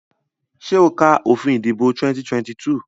Ṣé o ka òfin ìdìbò 2022?